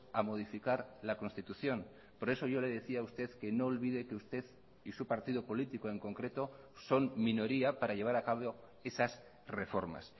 a modificar la constitución por eso yo le decía a usted que no olvide que usted y su partido político en concreto son minoría para llevar acabo esas reformas